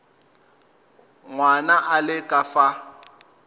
ngwana a le ka fa